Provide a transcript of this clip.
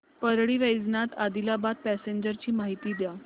Parli Vaijnath Adilabad passenger ची माहिती द्या